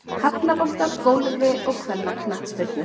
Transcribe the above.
Hafnabolta og Golfi og kvennaknattspyrnu.